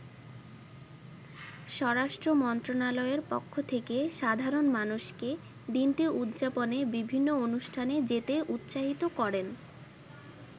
স্বরাষ্ট্র মন্ত্রনালয়ের পক্ষ থেকে সাধারণ মানুষকে দিনটি উদযাপনে বিভিন্ন অনুষ্ঠানে যেতে উৎসাহিত করেন।